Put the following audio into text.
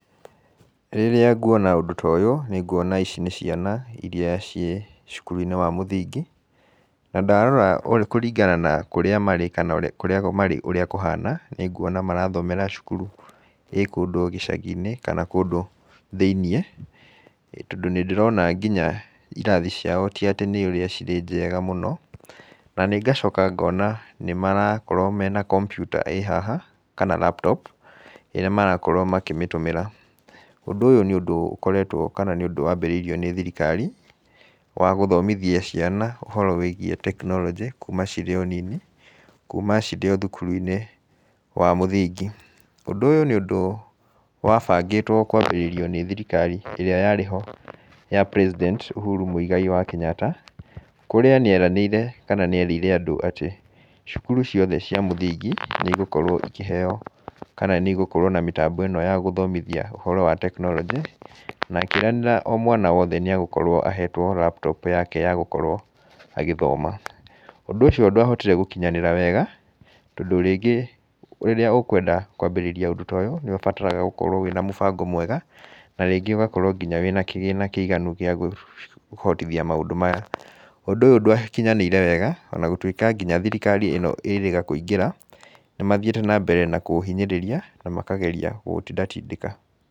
Rĩrĩa nguona ũndũ ta ũyũ, nĩnguona ici nĩ ciana irĩa cirĩ cukuruinĩ wa mũthingi, na ndarora kũringana kũrĩa marĩ, kana kũrĩa marĩ ũrĩa kũhana , nĩ nguona nĩ ũkuona marathomera cukuru ĩrĩ kũndũ gĩcagi-inĩ, kana kũndũ thĩiniĩ, tondũ nĩ ndĩrona nginya irathi ciao ti atĩ nĩ ũrĩa cirĩ njega mũno. Naniĩ ngacoka ngona nĩmarakorwo marĩ na computer ĩrĩ haha kana laptop ĩrĩ haha ĩrĩa marakorwo makĩmĩhũthĩra. Ũndũ ũyũ nĩ ũndũ ũkoretwo, kana nĩ ũndũ wambĩrĩirio nĩ thirikari wa gũthomithia ciana ũhoro wĩgiĩ technology kuma cirĩ o nini, kuma cirĩ o cukuruinĩ wa mũthingi. Ũndũ ũyũ nĩ ũndũ wa mbangĩtũo kũambĩrĩrio nĩ thirikari ĩrĩa yarĩho ya president Uhuru Muigai wa Kenyatta, kũrĩa nĩ eranĩire kana nĩ erĩire andũ cukuru ciothe cia mũthingi, nĩ cigũkorũo ikĩheo, kana nĩ igũkorũo na mĩtambo ĩno ya gũthomithia ũhoro wa technology, na akĩĩranĩra mwana o wothe nĩ agũkorũo ahetwo laptop yake ya gũkorũo agĩthoma. Ũndũ ũcio ndwahotire gũkorwo ũgĩkinyanĩra, tondũ rĩngĩ rĩrĩa gũkũenda kwambĩrĩa ũndũ ta ũyũ nĩ ũbataraga gũkorwo ũrĩ na mũbango mwega na nginya ũgakorwo ũrĩ na kĩgĩna gĩa kũhotithia maũndũ maya. Ũndũ ũyũ ndúwakinyanĩire wega o na gũtuĩka nginya thirikari ĩno ĩrĩga kũingĩra, nĩ mathiĩte na mbere na kũũhinyĩrĩria makageria kũũtindatindĩka.